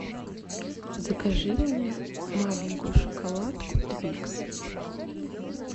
закажи мне маленькую шоколадку твикс